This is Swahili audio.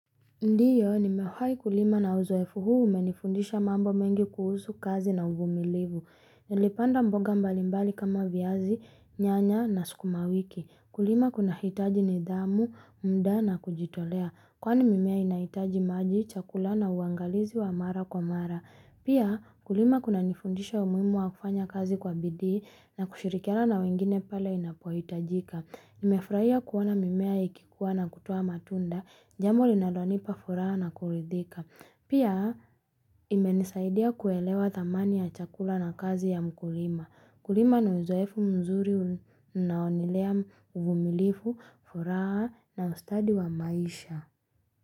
Ndiyo, nimewahi kulima na uzoefu huu umenifundisha mambo mengi kuhusu kazi na uvumilivu. Nilipanda mboga mbalimbali kama viazi, nyanya na sukuma wiki. Kulima kunahitaji nidhamu, muda na kujitolea. Kwani mimea inahitaji maji, chakula na uangalizi wa mara kwa mara. Pia kulima kuna nifundisha umuhimu wa kufanya kazi kwa bidii na kushirikiana na wengine pale inapohitajika. Nimefurahia kuona mimea ikikua na kutoa matunda. Jambo linalonipa furaha na kuridhika. Pia imenisaidia kuelewa thamani ya chakula na kazi ya mkulima. Kulima ni uzoefu mzuri unaolea uvumilivu furaha na ustadi wa maisha.